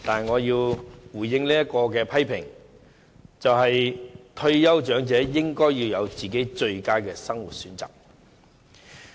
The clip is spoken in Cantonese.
我只是希望退休長者能享有最佳的生活選擇。